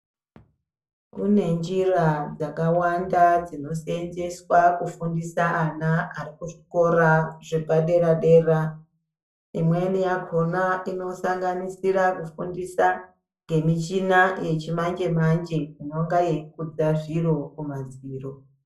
Kune njira dzakawanda dzinoseenzeswa kufundisa ana ari kuzvikora zvepadera dera. Imweni yakhona inosanganisira kufundisa ngemichina yechimanje manje inonga yeikudza zviro kumadziro .